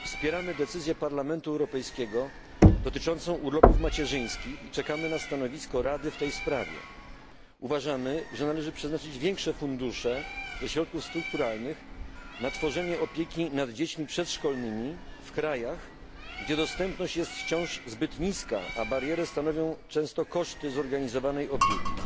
Wspieramy decyzję Parlamentu Europejskiego dotyczącą urlopów macierzyńskich i czekamy na stanowisko Rady w tej sprawie. Uważamy, że należy przeznaczyć większe fundusze ze środków strukturalnych na tworzenie opieki nad dziećmi przedszkolnymi w krajach, gdzie dostępność jest wciąż zbyt niska, a barierę stanowią często koszty zorganizowanej opieki.